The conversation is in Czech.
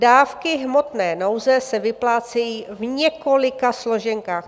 Dávky hmotné nouze se vyplácejí v několika složenkách.